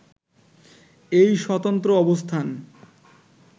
এই স্বতন্ত্র অবস্থান